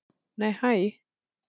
Nei hæ!